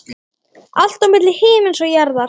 Allt milli himins og jarðar.